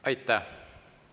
Aitäh!